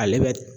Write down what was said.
Ale bɛ